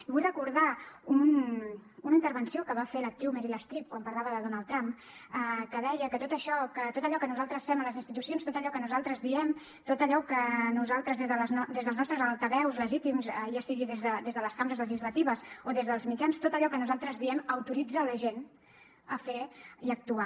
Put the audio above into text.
i vull recordar una intervenció que va fer l’actriu meryl streep quan parlava de donald trump que deia que tot allò que nosaltres fem a les institucions tot allò que nosaltres diem tot allò que nosaltres des dels nostres altaveus legítims ja sigui des de les cambres legislatives o des dels mitjans tot allò que nosaltres diem autoritza la gent a fer i actuar